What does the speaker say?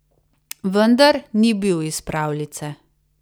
Vendar ni bil iz pravljice.